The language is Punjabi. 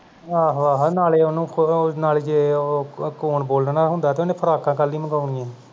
ਆਹੋ ਆਹੋ ਨਾਲੇ ਉਹਨੂੰ ਖੂਦ ਨਾਲੇ ਜੇ ਉਹ ਕੁ ਕੌਣ ਬੋਲਣਾ ਹੁੰਦਾ ਤੇ ਉਹਨੇ frock ਕਾ ਕਾਹਦੇ ਲਈ ਮੰਗਾਨੀ ਆਂ ਸੀਂ